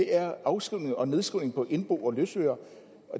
er afskrivning og nedskrivning på indbo og løsøre